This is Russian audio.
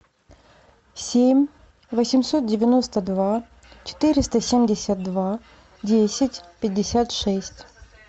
семь восемьсот девяносто два четыреста семьдесят два десять пятьдесят шесть